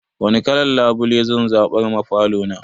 Wani kalan labule zan zaɓar ma falo na?